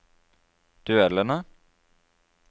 duellene